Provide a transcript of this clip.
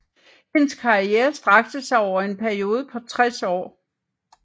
Hendes karriere strakte sig over en periode på 60 år